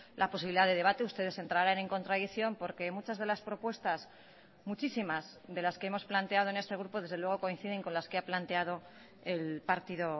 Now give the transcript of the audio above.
la posibilidad de debate ustedes entrarán en contradicción porque muchas de las propuestas muchísimas de las que hemos planteado en este grupo desde luego coinciden con las que ha planteado el partido